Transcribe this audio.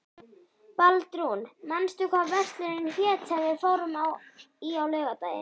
Baldrún, manstu hvað verslunin hét sem við fórum í á laugardaginn?